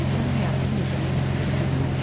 Deməli sən həyatının yeganə məqsədi budur?